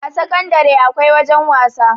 a sakandare akwai wajen wasa